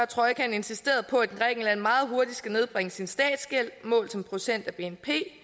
trojkaen insisteret på at grækenland meget hurtigt skal nedbringe sin statsgæld målt som procent af bnp